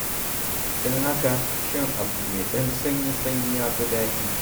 Don haka shan abu mai ɗan sanyi-sanyi ya fi daɗi.